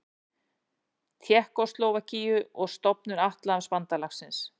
Tékkóslóvakíu og stofnun Atlantshafsbandalagsins.